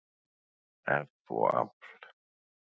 eff og afl.